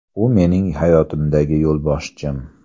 U – mening hayotimdagi yo‘lboshchim.